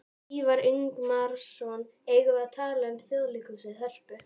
Ívar Ingimarsson: Eigum við að tala um Þjóðleikhúsið, Hörpu?